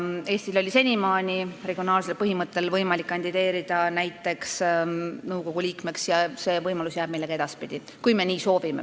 Eestil oli võimalik senimaani regionaalsel põhimõttel kandideerida näiteks nõukogu liikmeks ja see võimalus jääb meile ka edaspidi, kui me nii soovime.